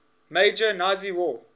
major nazi war